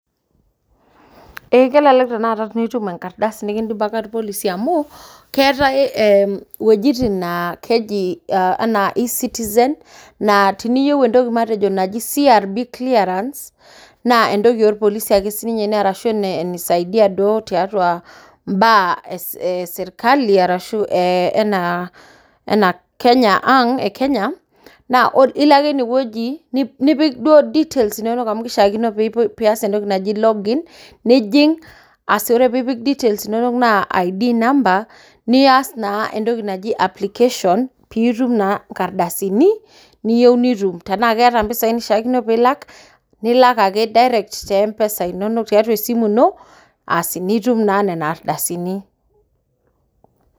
Ee kelelek tanakata piitum enkardasi nikindipaka irpolisi amuu, keetae iwuejitin naa keji anaa ecitizen naa tiniyieu entoki matejo naji crb clearance naa entoki oo irpolisi ake sii ninye ashuu neeta ake sii ninye enisaidia mbaa esirkali, anaa Kenya ang e Kenya, ilo ake ine wueji nipik duoo details inono piias entoki naji login nijing ore piipik details inono naa ID number niaas naa entoki naji application piitum naa nkardasini neiyieu nitum, tenaa keetae mpisai nilak, nilak ake te mpesa tiaatua esimu ino asi piitum naa nena ardasini.